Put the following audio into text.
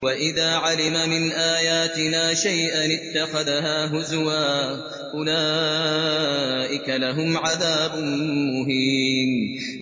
وَإِذَا عَلِمَ مِنْ آيَاتِنَا شَيْئًا اتَّخَذَهَا هُزُوًا ۚ أُولَٰئِكَ لَهُمْ عَذَابٌ مُّهِينٌ